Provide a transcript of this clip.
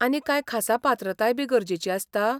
आनी कांय खासा पात्रताय बी गरजेची आसता?